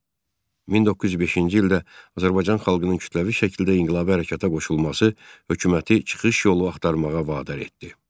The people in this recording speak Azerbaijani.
1905-ci ildə Azərbaycan xalqının kütləvi şəkildə inqilabi hərəkəta qoşulması hökuməti çıxış yolu axtarmağa vadar etdi.